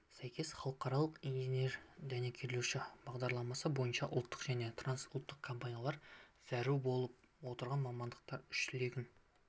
сәйкес халықаралық инженер-дәнекерлеуші бағдарламасы бойынша ұлттық және трансұлттық компаниялар зәру болып отырған мамандардың үш легін